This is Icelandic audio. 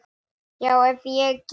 Já, ef ég get.